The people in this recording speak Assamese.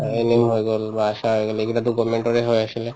আৰু NM হৈ গল বা এইবিলাকতো government ৰে আছিলে